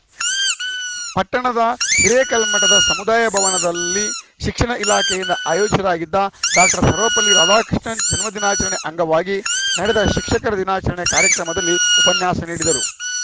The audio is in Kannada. ಪಟ್ಟಣದ ಹಿರೇಕಲ್ಮಠದ ಸಮುದಾಯ ಭವನದಲ್ಲಿ ಶಿಕ್ಷಣ ಇಲಾಖೆಯಿಂದ ಆಯೋಜಿಸಲಾಗಿದ್ದ ಡಾಕ್ಟರ್ ಸರ್ವಪಲ್ಲಿ ರಾಧಾಕೃಷ್ಣನ್‌ ಜನ್ಮದಿನಾಚರಣೆ ಅಂಗವಾಗಿ ನಡೆದ ಶಿಕ್ಷಕರ ದಿನಾಚರಣೆ ಕಾರ್ಯಕ್ರಮದಲ್ಲಿ ಉಪನ್ಯಾಸ ನೀಡಿದರು